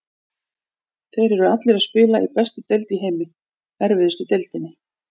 Þeir eru allir að spila í bestu deild í heimi, erfiðustu deildinni.